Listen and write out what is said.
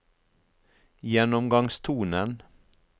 gjennomgangstonen